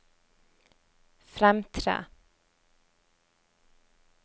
fremtre